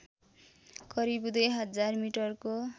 करिब दुई हजार मिटरको